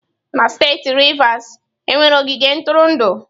Na steeti Rivers, e nwere ogige ntụrụndụ.